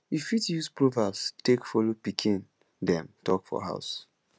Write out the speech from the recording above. you fit use proverbs take follow pikin dem talk for house